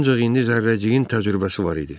Ancaq indi zərrəciyin təcrübəsi var idi.